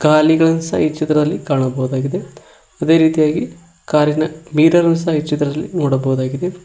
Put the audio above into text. ಗಾಲಿಗಳು ಈ ಚಿತ್ರದಲ್ಲಿ ಕಾಣಬಹುದಾಗಿದೆ ಅದೇ ರೀತಿಯಾಗಿ ಕಾರಿ ನ ಮಿರರ್ ಸಹ ಈ ಚಿತ್ರದಲ್ಲಿ ನೋಡಬಹುದಾಗಿದೆ.